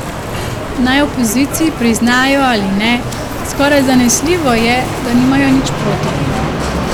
Naj v opoziciji priznajo ali ne, skoraj zanesljivo je, da nimajo nič proti.